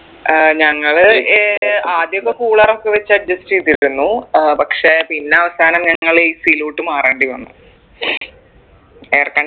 ഏർ ഞങ്ങൾ ഏർ ആദ്യോക്കെ cooler ഒക്കെ വെച്ച് adjust ചെയ്തിരുന്നു ഏർ പക്ഷെ പിന്നെ അവസാനം ഞങ്ങൾ AC ലോട്ട് മാറേണ്ടിവന്നു air condi